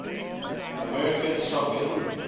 american soccer league